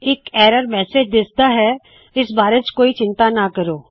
ਇਕ error message ਦਿਖਦਾ ਹੈ ਜਿਸ ਬਾਰੇ ਇੱਥੇ ਕੋਈ ਚਿੰਤਾ ਨਾ ਕਰੋ